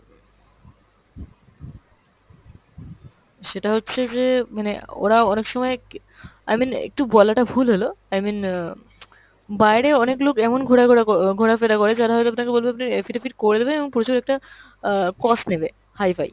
সেটা হচ্ছে যে মানে ওরা অনেক সময় কী, i mean একটু বলাটা ভুল হল, i mean অ্যাঁ বাইরে অনেক লোক এমন ঘোড়া ঘোরা ক~ ঘোরা-ফেরা করে যারা হয়তো আপনাকে বলবে আপনার affidavit করে দেবে এবং প্রচুর একটা অ্যাঁ cost নেবে hi-fi।